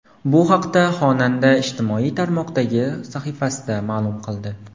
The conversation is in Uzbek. Bu haqda xonanda ijtimoiy tarmoqdagi sahifasida ma’lum qildi.